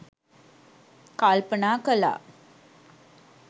කල්පනා කළා.